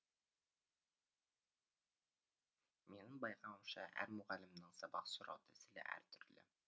менің байқауымша әр мұғалімнің сабақ сұрау тәсілі әртүрлі